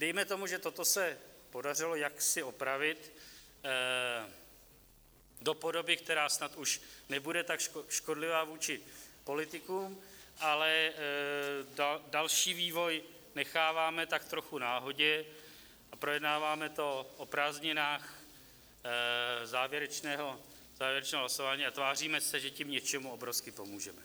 Dejme tomu, že toto se podařilo jaksi opravit do podoby, která snad už nebude tak škodlivá vůči politikům, ale další vývoj necháváme tak trochu náhodě a projednáváme to o prázdninách, závěrečné hlasování, a tváříme se, že tím něčemu obrovsky pomůžeme.